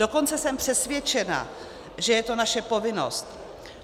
Dokonce jsem přesvědčena, že je to naše povinnost.